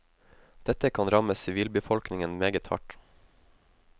Dette kan ramme sivilbefolkningen meget hardt.